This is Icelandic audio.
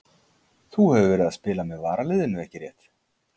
Þú hefur verið að spila með varaliðinu ekki rétt?